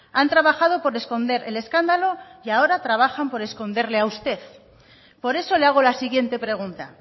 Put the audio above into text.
han trabajado por esconder el escándalo y ahora trabajan por esconderle a usted por eso le hago la siguiente pregunta